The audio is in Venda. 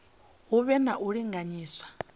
hu vhe na u linganyiswa